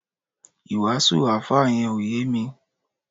iwasu alfa yen o ye mi